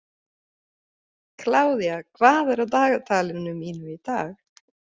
Kládía, hvað er á dagatalinu mínu í dag?